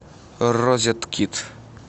розеткид